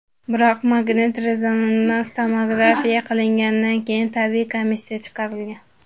Biroq magnit-rezonans tomografiya qilingandan keyin tibbiy komissiya chaqirilgan.